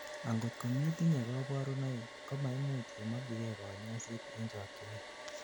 angot kometinyei kaborunoik ,komaimuch imokyigei kanyoiset en chokyinet